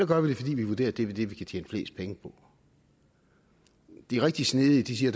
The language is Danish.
gør det fordi vi vurderer at det er det vi kan tjene flest penge på de rigtig snedige siger